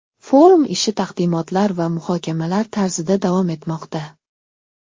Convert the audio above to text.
Forum ishi taqdimotlar va muhokamalar tarzida davom etmoqda.